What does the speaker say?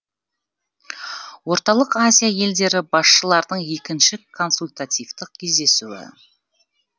орталық азия елдері басшыларының екінші консультативтік кездесуі